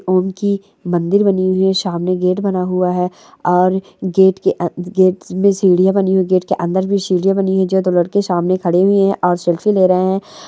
उनकी मंदिर बनी हुई है सामने गेट बना हुआ है और गेट के गेट में सीढ़ियां बनी हुई गेट के अंदर भी सीढ़ियां बनी है जो दो लड़के सामने खड़े हुए है और सेल्फी ले रहे है।